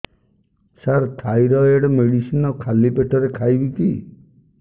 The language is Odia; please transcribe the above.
ସାର ଥାଇରଏଡ଼ ମେଡିସିନ ଖାଲି ପେଟରେ ଖାଇବି କି